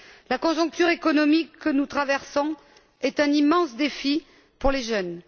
La conjoncture économique que nous traversons est un immense défi pour les jeunes.